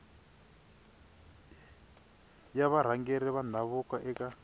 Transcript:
ya varhangeri va ndhavuko eka